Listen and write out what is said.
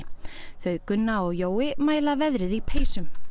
þau Gunna og Jói mæla veðrið í peysum